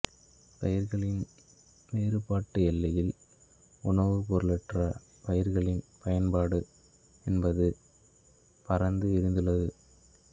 பயிர்களின் வேறுபாட்டு எல்லையில் உணவுப் பொருளற்ற பயிர்களின் பயன்பாடு என்பது பரந்து விரிந்துள்ளது